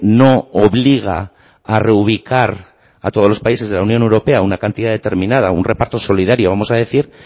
no obliga a reubicar a todos los países de la unión europea una cantidad determinada un reparto solidario vamos a decir